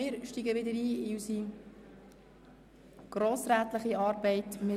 Nun steigen wir wieder in unsere grossrätliche Arbeit ein.